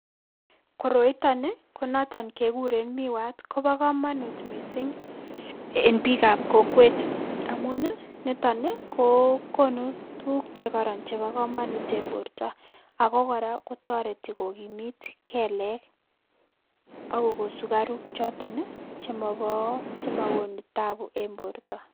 Koroiton ii ko noton kekuren miwat, kobo komonut missing' en bikab kokwet amun ii niton ii ko konu tuguk chekoron chebo komonut en borto ago kora kotoreti kokimit kelek ako koko sukaruk choton ii chemobo chemogonu taabu en borto.